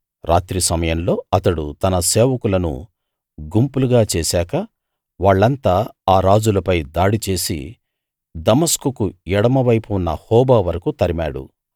రాత్రి సమయంలో అతడు తన సేవకులను గుంపులుగా చేశాక వాళ్ళంతా అ రాజులపై దాడి చేసి దమస్కుకు ఎడమవైపు ఉన్న హోబా వరకూ తరిమాడు